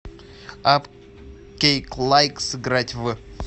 апп кейклайк сыграть в